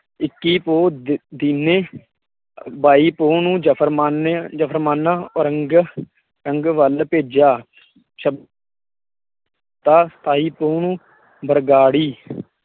ਇੱਕੀ ਪੋਹ ਦ ਦੀਨੇ, ਵਾਈ ਪੋਹ ਨੂੰ ਜਫ਼ਰਮਾਨੇ ਜਫ਼ਰਮਾਨਾ ਔਰੰਗ ਰੰਗ ਵਲ ਭੇਜਿਆ ਛ ਸਤਾਈ ਪੋਹ ਨੂੰ ਬਰਗਾੜੀ